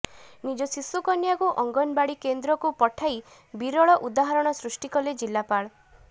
ନିଜ ଶିଶୁକନ୍ୟାକୁ ଅଙ୍ଗନବାଡ଼ି କେନ୍ଦ୍ରକୁ ପଠାଇ ବିରଳ ଉହାହାରଣ ସୃଷ୍ଟି କଲେ ଜିଲ୍ଲାପାଳ